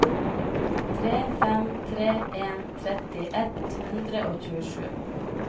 tre fem tre en tretti ett hundre og tjuesju